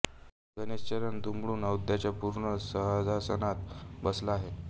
गणेश चरण दुमडून अद्यैताच्या पूर्ण सहजासनात बसला आहे